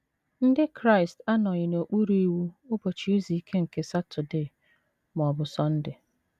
Ndị Kraịst anọghị n’okpuru iwu Ụbọchị Izu Ike nke Saturday ma ọ bụ Sunday.